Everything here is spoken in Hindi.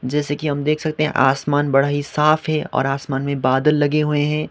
जैसे कि हम देख सकते हैं आसमान बड़ा ही साफ है और आसमान में बादल लगे हुए हैं।